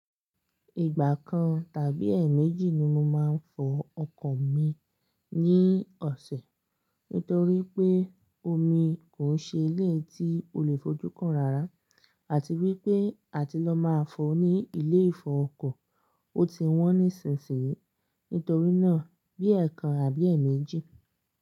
Ìgbà kan tàbí ẹ̀ẹ̀méjì ni mo máa ń fọ ọkọ̀ mi ní ọ̀sẹ̀ nítorí pé omi kò ń ṣe ilé tí o lè fojú kan rárá àti wípé àti lọ máa fọ ní ilé ìfọọkọ̀, ó ti wọ́n nísìnsìnyí. Nítorí náà, bí ẹ̀ẹ̀kan àbí ẹ̀ẹ̀méjì.